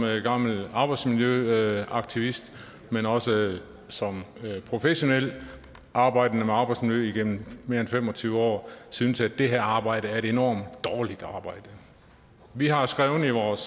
gammel arbejdsmiljøaktivist men også som professionel arbejdende med arbejdsmiljø igennem mere end fem og tyve år synes at det her arbejde er et enormt dårligt arbejde vi har skrevet